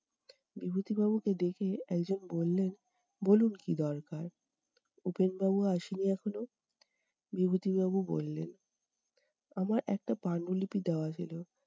বিভূতিবাবুকে দেখে একজন বললেন- বলুন কী দরকার? উপেন বাবু আসেনি এখনো? বিভূতিভবাবু বললেন। আমার একটা পাণ্ডুলিপি দেওয়া ছিল।